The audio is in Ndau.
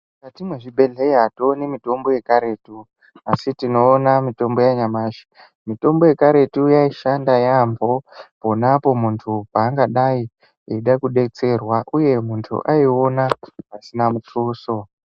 Mukati mezvibhedhera tinoona mitombo yekaretu, mumwe musi tinoona mitombo yanyamashi, mitombo yekaretu yaishanda yambo ponapo muntu paangadai eida kudetserwa uye muntu aiwona pasina mutuso.